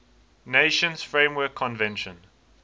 nations framework convention